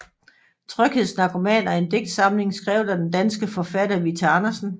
Tryghedsnarkomaner er en digtsamling skrevet af den danske forfatter Vita Andersen